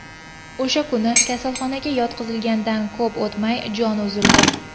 O‘sha kuni, kasalxonaga yotqizilganidan ko‘p o‘tmay, joni uzildi.